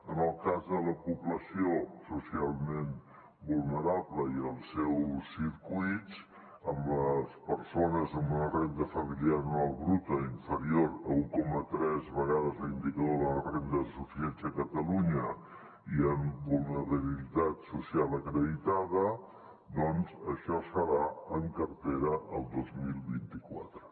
en el cas de la població socialment vulnerable i els seus circuits en les persones amb una renda familiar bruta inferior a un coma tres vegades l’indicador de la renda de suficiència de catalunya i amb vulnerabilitat social acreditada doncs això serà en cartera el dos mil vint quatre